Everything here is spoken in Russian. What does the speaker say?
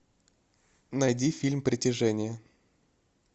найди фильм притяжение